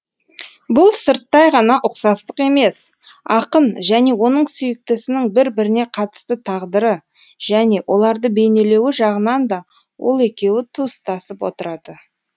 бұл сырттай ғана ұқсастық емес ақын және оның сүйіктісінің бір біріне қатысты тағдыры және оларды бейнелеуі жағынан да ол екеуі туыстасып отырады